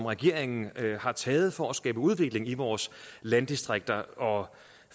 regeringen har taget for at skabe udvikling i vores landdistrikter og